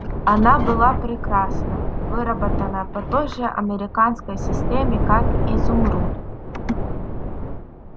она была прекрасна выработана по той же американской системе как изумруд